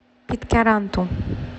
питкяранту